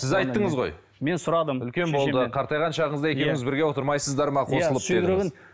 сіз айттыңыз ғой мен сұрадым үлкен болды қартайған шағыңызда екеуіңіз бірге отырмайсыздар ма қосылып